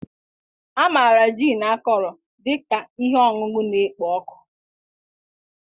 A maara gin akọrọ dị ka ihe ọṅụṅụ na-ekpo ọkụ